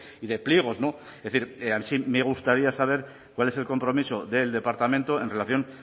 y de pliegos es decir sí me gustaría saber cuál es el compromiso del departamento en relación